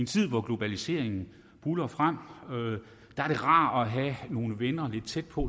tid hvor globaliseringen buldrer frem er det rart at have nogle venner lidt tæt på